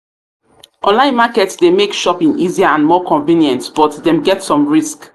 online market dey make shopping easier and more convenient but dem get some risk.